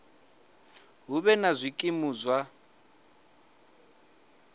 hu vhe na zwikimu zwa